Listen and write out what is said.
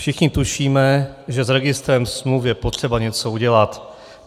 Všichni tušíme, že s registrem smluv je potřeba něco udělat.